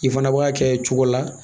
I fana b'a kɛ cogo la